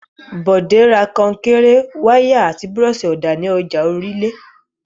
Bọ̀dé ra kọnkéré, wàláà àti búrọ́ṣì-ọ̀dà ní ọjà Orílé.